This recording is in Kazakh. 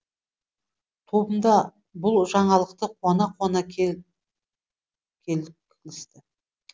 тобымда бұл жаңалықты қуана қуана келкісті